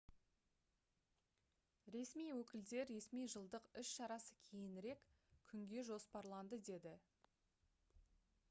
ресми өкілдер ресми жылдық іс-шарасы кейінірек күнге жоспарланды деді